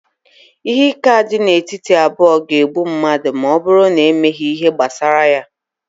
ihe ike a dị n'etiti abụọ ga-egbu mmadụ ma ọ bụrụ na emeghị ihe gbasara ya